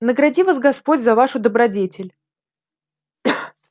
награди вас господь за вашу добродетель